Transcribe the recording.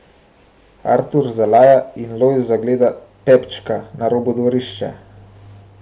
Artur zalaja in Lojz zagleda Pepčka na robu dvorišča.